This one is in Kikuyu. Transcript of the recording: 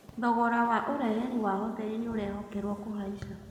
Thogora Wa ũreheri Wa hoteri nĩũrehokerwo kũhaisha